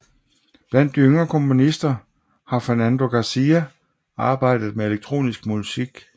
Blandt de yngre komponister har Fernando García arbejdet med elektronisk musik